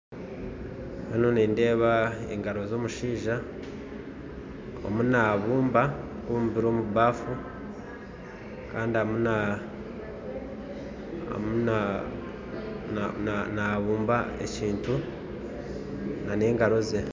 Hanu nindeeba engaro z'omushaija arimu naabumba naabumbira omu bafu kandi arimu naabumba ekintu n'engaro ze.